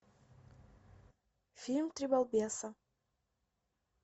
фильм три балбеса